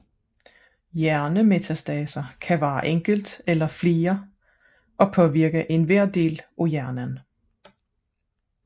Hjernemetastaser kan være enkelt eller flere og påvirke enhver del af hjernen